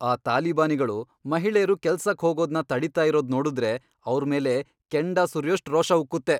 ಆ ತಾಲಿಬಾನಿಗಳು ಮಹಿಳೇರು ಕೆಲ್ಸಕ್ ಹೋಗೋದ್ನ ತಡೀತಾ ಇರೋದ್ ನೋಡುದ್ರೆ ಅವ್ರ್ ಮೇಲೆ ಕೆಂಡ ಸುರ್ಯೋಷ್ಟ್ ರೋಷ ಉಕ್ಕುತ್ತೆ.